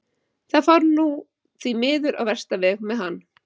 Það fór nú því miður á versta veg með hann.